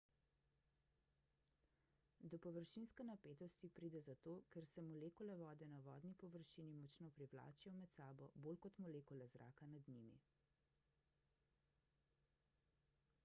do površinske napetosti pride zato ker se molekule vode na vodni površini močno privlačijo med sabo bolj kot molekule zraka nad njimi